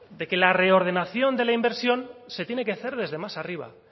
de que la reordenación de la inversión se tiene que hacer desde más arriba